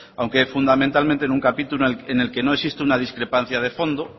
aunque fundamentalmente en un capítulo en el que no existe una discrepancia de fondo